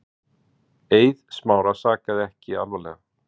Eið Smára sakaði ekki alvarlega.